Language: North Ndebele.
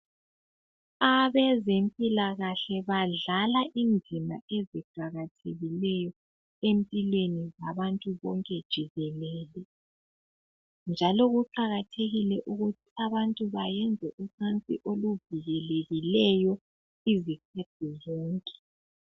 Abezempilakahle badlala indima eziqakathekileyo empilweni zabantu bonke jikelele njalo kuqakathekile ukuthi abantu bayenze ucansi oluvikelekileyo izikhathi zonke.